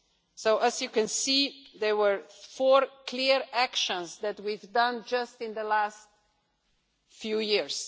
So as you can see, there were four clear actions that we have taken just in the last few years.